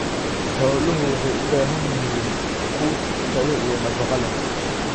Xooluhu waxay u baahan yihiin quud tayo iyo nafaqo leh.